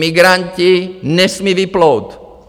Migranti nesmí vyplout.